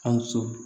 Ka so